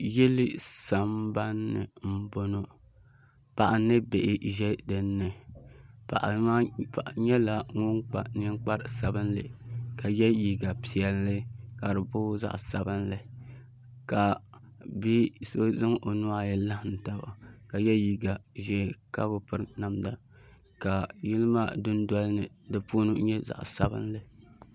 Yili sambanni n bɔŋɔ paɣa ni bihi ʒɛ dinni paɣa nyɛla ŋun kpa ninkpari sabinli ka yɛ liiga piɛlli ka di booi zaɣ sabinli ka bia so zaŋ o nuhi ayi laɣam taba ka yɛ liiga ʒiɛ ka bi piri namda ka yili maa dundoli ni di puni nyɛ zaɣ ʒiɛ